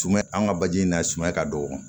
Tuma an ka baji in na sumaya ka dɔgɔ